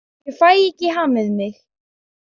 Ég fæ ekki hamið mig.